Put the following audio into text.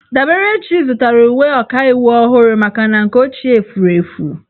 Daberechi zụtara uwe ọkaiwu ọhụrụ maka na nke ochie furu efu.